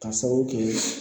K'a sababu kɛ